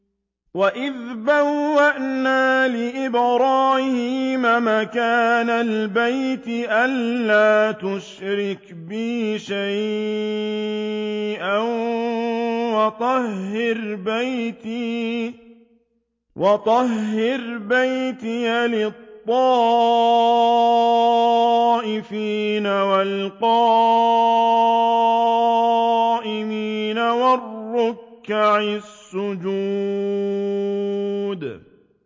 وَإِذْ بَوَّأْنَا لِإِبْرَاهِيمَ مَكَانَ الْبَيْتِ أَن لَّا تُشْرِكْ بِي شَيْئًا وَطَهِّرْ بَيْتِيَ لِلطَّائِفِينَ وَالْقَائِمِينَ وَالرُّكَّعِ السُّجُودِ